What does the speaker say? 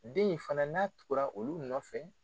Den in fana n'a tugura olu nɔ nɔfɛ